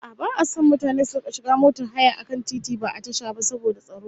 A'a, ba'a son mutane su rika shiga motar haya a kan titi, ba a tasha ba, saboda tsaro